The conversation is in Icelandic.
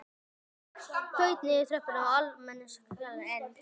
Benedikt þaut niður tröppurnar á almenningssalerninu en